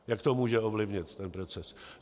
Jak to může ovlivnit ten proces?